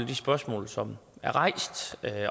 de spørgsmål som er rejst